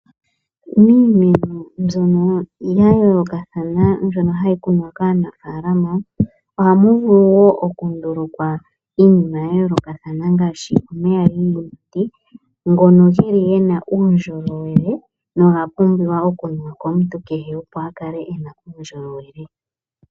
Miimeno mbyono ya yoolokathana mbyono hayi kunwa kaanafaalama ohamu vulu wo okundulukwa iinima ya yoolokathana ngaashi omeya giiyimati, ngono geli gena uundjolowele noga pumbiwa okunuwa komuntu kehe opo a kale ena uundjolowele.